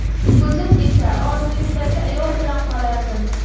O‘zim esa orzuimdagi ayol bilan qolardim”.